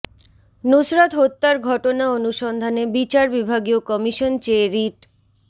নুসরাত হত্যার ঘটনা অনুসন্ধানে বিচার বিভাগীয় কমিশন চেয়ে রিট